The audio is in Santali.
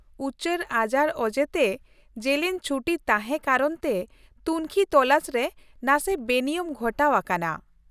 ᱩᱪᱟᱹᱲ ᱟᱡᱟᱨ ᱚᱡᱮᱛᱮ ᱡᱮᱞᱮᱧ ᱪᱷᱩᱴᱤ ᱛᱟᱦᱮᱸ ᱠᱟᱨᱚᱱᱛᱮ ᱛᱩᱝᱠᱷᱤ ᱛᱚᱞᱟᱥ ᱨᱮ ᱱᱟᱥᱮ ᱵᱮᱱᱤᱭᱚᱢ ᱜᱷᱚᱴᱟᱣ ᱟᱠᱟᱱᱟ ᱾